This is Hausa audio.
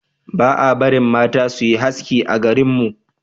ba a barin mata su yi haski a garin mu